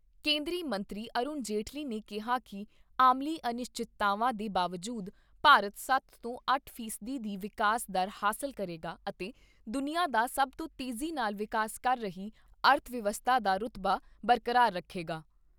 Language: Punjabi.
ਕੇਂਦਰੀ ਮੰਤਰੀ ਅਰੁਣ ਜੇਟਲੀ ਨੇ ਕਿਹਾ ਕਿ ਆਲਮੀ ਅਨਿਸ਼ਚਿਤਤਾਵਾਂ ਦੇ ਬਾਵਜੂਦ ਭਾਰਤ ਸੱਤ ਤੋਂ ਅੱਠ ਫੀਸਦੀ ਦੀ ਵਿਕਾਸ ਦਰ ਹਾਸਲ ਕਰੇਗਾ ਅਤੇ ਦੁਨੀਆ ਦਾ ਸਭ ਤੋਂ ਤੇਜ਼ੀ ਨਾਲ ਵਿਕਾਸ ਕਰ ਰਹੀ ਅਰਥ ਵਿਵਸਥਾ ਦਾ ਰੁਤਬਾ ਬਰਕਰਾਰ ਰੱਖੇਗਾ।